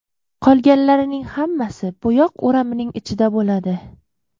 Qolganlarining hammasi bo‘yoq o‘ramining ichida bo‘ladi.